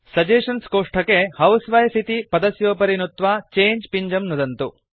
suggestions कोष्ठके housewife इति पदस्योपरि नुत्वा चङ्गे पिञ्जं नुदन्तु